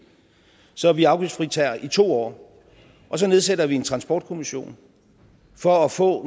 så vi afgiftsfritager i to år og så nedsætter vi en transportkommission for at få